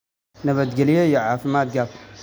Nabadgelyo iyo caafimaad qab!"